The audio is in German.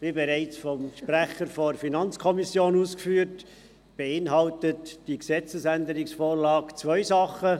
Wie bereits vom Sprecher der FiKo ausgeführt worden ist, beinhaltet die vorliegende Gesetzesänderung zwei Dinge: